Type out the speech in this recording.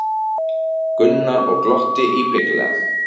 Gunnar og glotti íbyggilega.